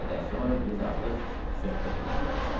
Bir qədər sonra biz artıq söhbət eləməyə başlamışdıq.